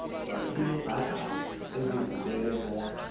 lineebhasari ezivulelwe bonke